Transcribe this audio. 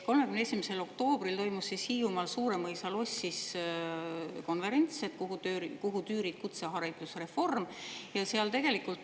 31. oktoobril toimus Hiiumaal Suuremõisa lossis konverents "Kuhu tüürid, kutseharidusreform?".